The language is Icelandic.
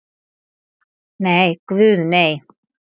NEI, guð nei!